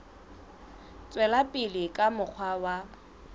tswela pele ka mokgwa wa